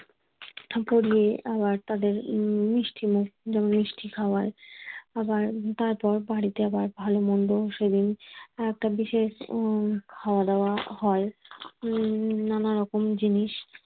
পরিয়ে আবার তাদের মিষ্টি মুখ মিষ্টি খাওয়ায় আবার তারপর বাড়িতে আবার ভালো মন্দ সেদিন একটা বিশেষ উম খাওয়া দাওয়া হয় উম নানা রকম জিনিস